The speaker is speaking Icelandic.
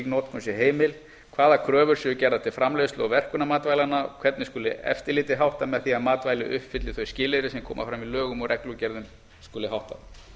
notkun sé heimil hvaða kröfur séu gerðar til framleiðslu og verkunar matvælanna hvernig eftirliti með því að matvæli uppfylli þau skilyrði sem koma fram í lögum og reglugerðum skuli háttað